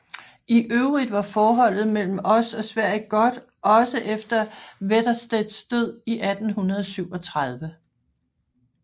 I øvrigt var forholdet mellem os og Sverige godt også efter Wetterstedts død i 1837